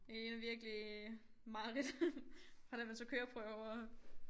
Det ligner virkelig mareridt fra da man tog køreprøver